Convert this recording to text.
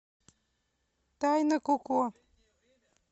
тайна коко